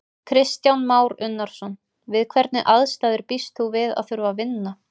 Kristján Már Unnarson: Við hvernig aðstæður býst þú við að þurfa að vinna?